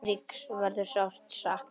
Eiríks verður sárt saknað.